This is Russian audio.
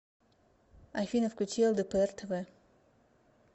афина включи эл дэ пэ эр тэ вэ